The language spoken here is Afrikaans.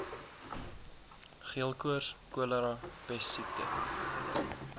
geelkoors cholera pessiekte